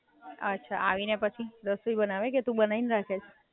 બાકી બોલ બીજું શું ચાલે? તારા ફોઇ ક્યારે મોર્નિંગ સ્કૂલ માં છે?